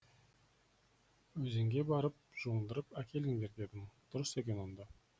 өзенге барып жуындырып әкеліңдер дедім дұрыс екен онда